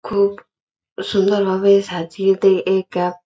খুব সুন্দর ভাবে সাজিয়ে দিয়ে একা--